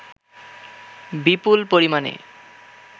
বিপুল পরিমাণে